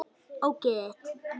Ógeðið þitt!